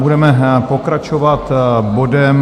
Budeme pokračovat bodem